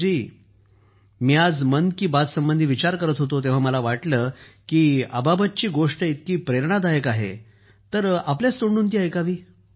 सुखबीर जी मी आज मन की बातसंबंधी विचार करत होतो तेव्हा मला वाटलं की अबाबतची गोष्ट इतकी प्रेरणादायक आहे तर आपल्याच तोंडून ती ऐकावी